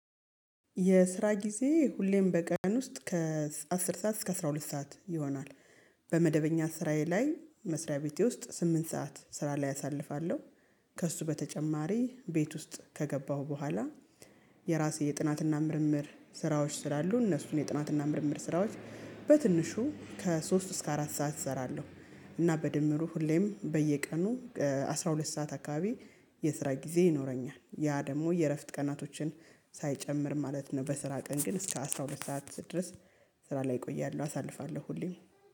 የስራ ጊዜ ሁሌም በቀን ውስጥ ከአስር ሰዓት እስከ አስራ ሁለት ሰዓት ይሆናል። በመደበኛ ስራዬ ላይ መስሪያ ቤቴ ውስጥ ስምንት ሰዓት ስራ ላይ አሳልፋለሁ። ከእሱ በተጨማሪ ቤት ውስጥ ከገባሁ በኋላ የራሴ የጥናትና ምርምር ስራዎች ስላሉ እነሱን የጥናትና ምርምር ስራዎች በትንሹ ከሶስት እስከ አራት ሰዓት እሰራለሁ። እና በድምሩ ሁሌም በየቀኑ አስራ ሁለት ሰዓት አካባቢ የስራ ጊዜ ይኖረኛል ያ ደግሞ የእረፍት ቀናቶችን ሳይጨምር ማለት ነው። በስራ ቀን ግን እስከ አስራ ሁለት ሰዓት ድረስ ስራ ላይ ቆያለሁ አሳልፋለሁ ሁሌም